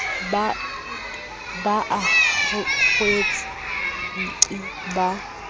ba a kwetse nqi ba